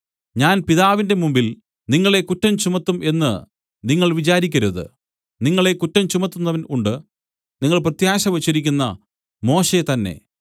ഞാൻ പിതാവിന്റെ മുമ്പിൽ നിങ്ങളെ കുറ്റം ചുമത്തും എന്നു നിങ്ങൾ വിചാരിക്കരുത് നിങ്ങളെ കുറ്റം ചുമത്തുന്നവൻ ഉണ്ട് നിങ്ങൾ പ്രത്യാശ വെച്ചിരിക്കുന്ന മോശെ തന്നേ